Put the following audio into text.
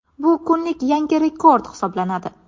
Bu kunlik yangi rekord hisoblanadi .